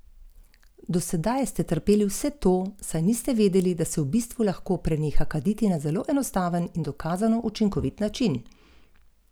Posut je bil s steklenimi opilki.